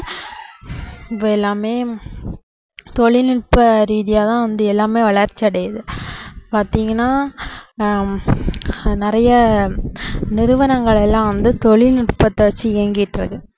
இப்போ எல்லாமே தொழில்நுட்ப ரீதியாதான் வந்து எல்லாமே வளர்ச்சியடையுது பாத்தீங்கன்னா ஹம் நிறைய நிறுவனங்கள் எல்லாம் வந்து தொழில்நுட்பத்தை வச்சு இயங்கிட்டிருக்கு